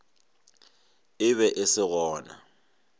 e be e se gona